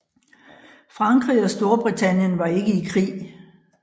Frankrig og Storbritannien var ikke i krig